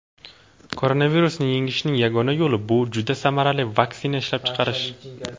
Koronavirusni yengishning yagona yo‘li bu juda samarali vaksina ishlab chiqarish.